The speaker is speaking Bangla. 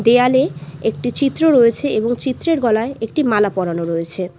দেয়ালে একটি চিত্র রয়েছে এবং চিত্রের গলায় একটি মালা পরানো রয়েছে।